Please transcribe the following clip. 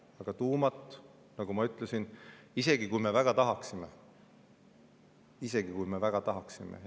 Aga tuuma, nagu ma ütlesin, ei suuda me enne kümmet-viitteist aastat teha, isegi kui me väga tahaksime.